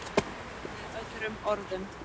Með öðrum orðum.